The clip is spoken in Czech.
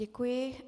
Děkuji.